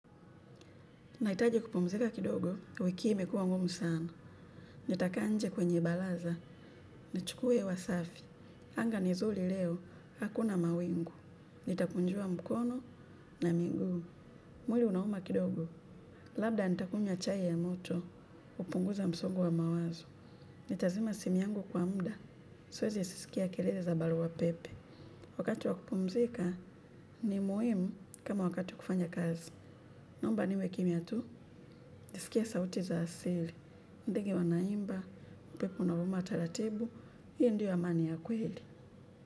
Na hitaji kupumzika kidogo wiki hii imekuwa ngumu sana. Nitakaa nje kwenye baraza nichukue hewa safi. Anga ni zuri leo, hakuna mawingu. Nitakunjua mkono na miguu. Mwili unauma kidogo. Labda nitakunywa chai ya moto kupunguza msongo wa mawazo. Nitazima simu yangu kwa muda. Siwezi sikia kelele za barua pepe. Wakati wa kupumzika ni muhimu kama wakati wa kufanya kazi. Naomba niwe kimya tu nisikie sauti za asili. Ndege wanaimba upepo una vuma taratibu hiyo ndiyo amani ya kweli.